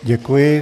Děkuji.